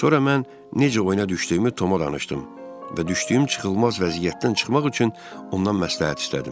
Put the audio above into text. Sonra mən necə oyuna düşdüyümü Toma danışdım və düşdüyüm çıxılmaz vəziyyətdən çıxmaq üçün ondan məsləhət istədim.